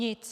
Nic.